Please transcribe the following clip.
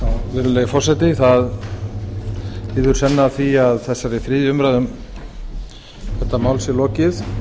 virðulegi forseti það líður senn að því að þessari þriðju umræðu um þetta mál sé lokið